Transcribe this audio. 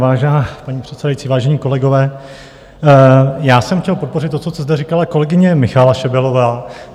Vážená paní předsedající, vážení kolegové, já jsem chtěl podpořit to, co tady říkala kolegyně Michaela Šebelová.